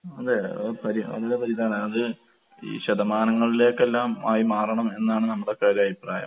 അതെ. അത് പരി നല്ല പരി ഇതാണ്. അത് ഈ ശതമാനങ്ങളിലേക്കെല്ലാം ആയി മാറണം എന്നാണ് നമ്മടെയൊക്കെയൊരഭിപ്രായം.